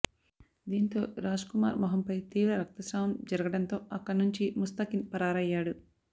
దీంతో రాజ్కుమార్ మోహంపై తీవ్ర రక్తశ్రావం జరుగడంతో అక్కడ నుంచి ముస్తాకిన్ పరారయ్యాడు